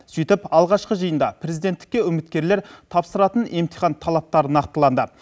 сөйтіп алғашқы жиында президенттікке үміткерлер тапсыратын емтихан талаптарын нақтылады